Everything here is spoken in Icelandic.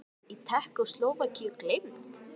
Innrásin í Tékkóslóvakíu gleymd?